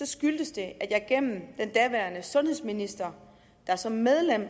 skyldtes det at jeg gennem den daværende sundhedsminister der som medlem